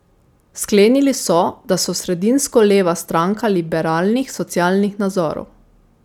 Sklenili so, da so sredinsko leva stranka liberalnih socialnih nazorov.